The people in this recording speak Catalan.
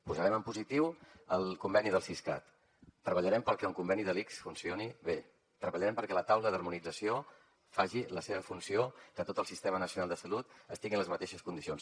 posarem en positiu el conveni del siscat treballarem perquè el conveni de l’ics funcioni bé treballarem perquè la taula d’harmonització faci la seva funció i perquè tot el sistema nacional de salut estigui en les mateixes condicions